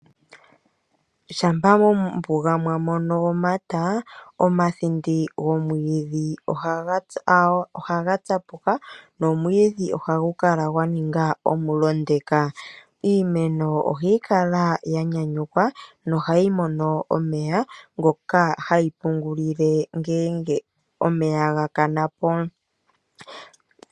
Shampa mombuga mwa mono omata, omathinde gomwiidhi ohaga tsapuka nomwiidhi ohagu kala gwa ninga omulondeka. Iimeno ohayi kala ya nyanyukwa nohayi mono omeya ngoka hayi pungulile ngele omeya ga pwine po.